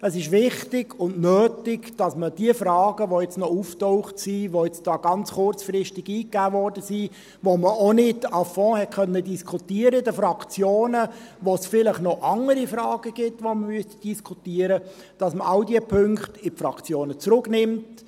Es ist wichtig und nötig, dass man die Fragen, die jetzt noch aufgetaucht sind, die ganz kurzfristig eingegeben wurden, die man in den Fraktionen auch nicht à fond diskutieren konnte, zu denen es vielleicht noch andere Fragen gibt, die man diskutieren müsste, in die Fraktionen zurücknimmt;